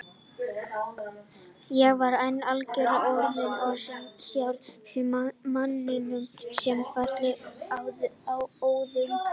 Ég var enn algjörlega orðlaus og horfði stjarfur á eftir manninum sem fjarlægðist óðum.